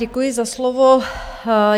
Děkuji za slovo.